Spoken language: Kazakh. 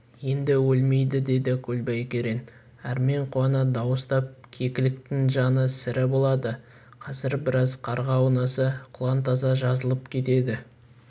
енді өлмейді деді көлбай керең әрмен қуана дауыстап кекіліктің жаны сірі болады қазір біраз қарға аунаса құлан таза жазылып кетеді